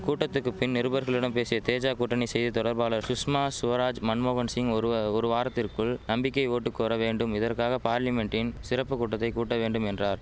கூட்டத்துக்கு பின் நிருபர்களிடம் பேசிய தேஜா கூட்டணி செய்தி தொடர்பாளர் சுஷ்மா சுவராஜ் மன்மோகன் சிங் ஒரு வ ஒரு வாரத்திற்குள் நம்பிக்கை ஓட்டு கோர வேண்டும் இதற்காக பார்லிமென்ட்டின் சிறப்பு கூட்டத்தை கூட்ட வேண்டும் என்றார்